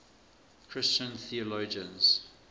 christian theologians